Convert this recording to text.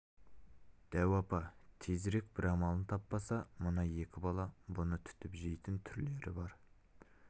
дәу апа тезірек бір амалын таппаса мына екі бала бұны түтіп жейтін түрлері бар